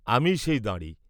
আমিই সেই দাঁড়ি।